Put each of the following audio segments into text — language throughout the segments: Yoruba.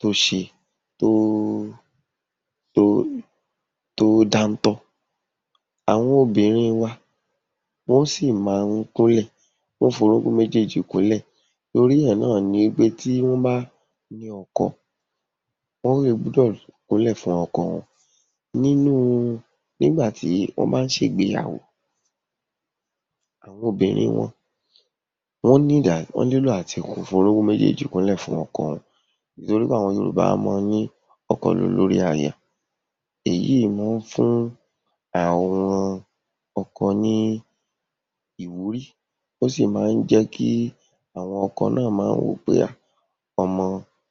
tó ṣe, tó tó tó dáńtọ́. Àwọn obìnrin wa wọ́n sì má ń kúnlẹ̀, wọ́n ó fi orúnkún méjéèjì kúnlẹ̀ torí ẹ̀ náà ni wí pé tí wọ́n bá ní ọkọ, wọ́n ó le gbúdọ̀ kúnlẹ̀ fún ọkọ wọn. Nínú nígbà tí wọ́n bá ń ṣ’ègbéyàwó àwọn obìnrin wọn, wọ́n need àti wọ́n nílò àti f’orúnkún méjéèjì kúnlẹ̀ fún ọkọ torí àwọn Yorùbá a máa ní ọkọ l’olórí aya. Èyí má ń fún àwọn ọkọ ní ìwúrí, ó sì má ń jẹ́ kí àwọn ọkọ náà máa wò ó pé um ọmọ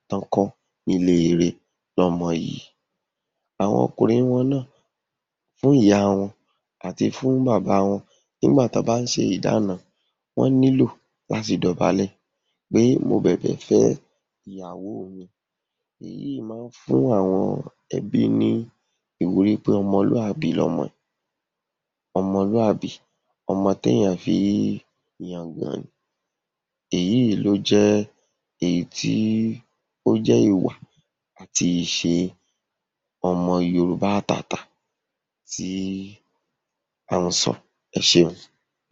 tán kọ́ nílé ire ni ọmọ yìí. Àwọn ọkùnrin wọn náà, fún ìyá wọn àti fún bàbá wọn nígbà tán bá ń ṣe ìdána, wọ́n nílò láti dọ̀bálẹ̀ pé mo bẹ̀bẹ̀ fẹ́ ìyàwó mi. Èyíìí má ń fún àwọn ẹbí ní ìwúrí pé ọmọlúàbí l’ọmọ yìí, ọmọlúàbí ọmọ t’èèyàn fi ń yangàn ni. Èyíìí ló jẹ́ èyí tí ó jẹ́ ìwà àti ìṣe ọmọ Yorùbá àtàtà tí à ń sọ. Ẹ ṣé o.